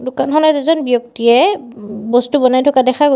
দোকানখনত এজন ব্যক্তিয়ে ওম বস্তু বনাই থকা দেখা গৈছ--